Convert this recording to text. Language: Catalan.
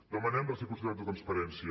demanem reciprocitat de transparència